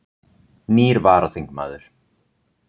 Nýr varaþingmaður